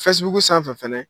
sanfɛ fana.